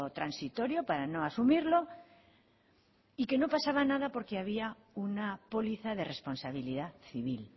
transitorio para no asumirlo y que no pasaba nada porque había una póliza de responsabilidad civil